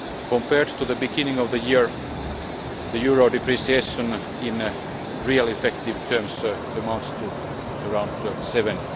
Compared to the beginning of the year, the euro depreciation in real effective terms amounts to around 7.